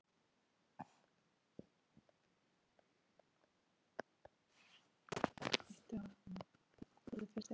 Því er óhætt að lofa.